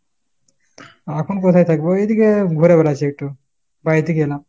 এখন কোথায় থাকবো ? ঐদিক ঘুরে বেড়াচ্ছি একটু। বাইরে থেকে এলাম।